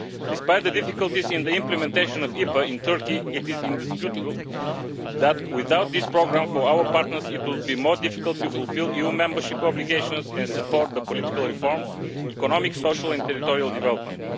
Despite the difficulties in the implementation of IPA in Turkey, it is indisputable that, without this programme for our partners, it would be more difficult to fulfil EU membership obligations and support the political reforms, economic, social and territorial development.